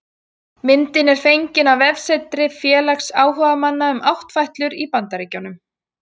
Myndin er fengin á vefsetri félags áhugamanna um áttfætlur í Bandaríkjunum